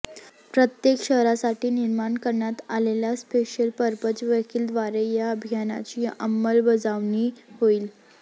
प्रत्येक शहरासाठी निर्माण करण्यात आलेल्या स्पेशल पर्पज व्हेकिलद्वारे या अभियानाची अंमलबजावणी होईल